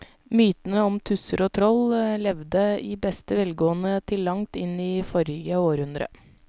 Mytene om tusser og troll levde i beste velgående til langt inn i forrige århundre.